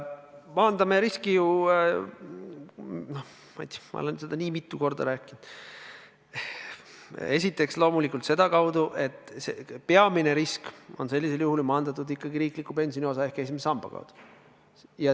Maandame riski – no ma ei tea, ma olen seda nii mitu korda rääkinud – esiteks loomulikult sedakaudu, et peamine risk saab maandatud ikkagi riikliku pensioniosa ehk esimese samba abil.